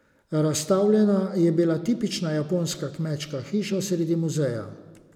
Razstavljena je bila tipična japonska kmečka hiša sredi muzeja.